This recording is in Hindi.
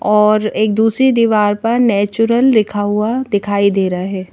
और एक दूसरी दीवार पर नेचुरल लिखा हुआ दिखाई दे रहा है।